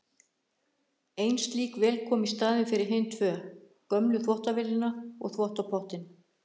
Ein slík vél kom í staðinn fyrir hin tvö, gömlu þvottavélina og þvottapottinn.